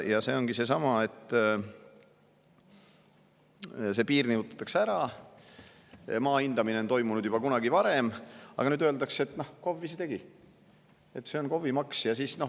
Ja see ongi seesama, et see piir nihutatakse ära, maa hindamine on toimunud juba varem, aga nüüd öeldakse, et KOV ise tegi, see on KOV‑i maks.